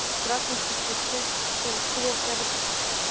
красная сто пятьдесят шесть посёлок село октябрьский